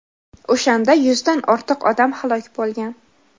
O‘shanda yuzdan ortiq odam halok bo‘lgan.